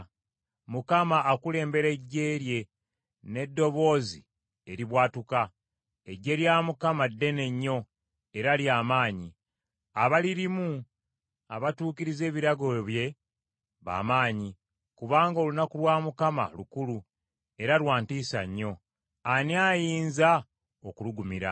Mukama akulembera eggye lye n’eddoboozi eribwatuuka. Eggye lya Mukama ddene nnyo era lya maanyi. Abalirimu abatuukiriza ebiragiro bye ba maanyi. Kubanga olunaku lwa Mukama lukulu era lwa ntiisa nnyo. Ani ayinza okulugumira?